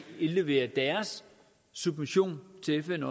indlevere deres submission til fn